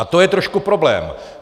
A to je trošku problém.